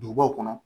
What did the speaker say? Dugubaw kɔnɔ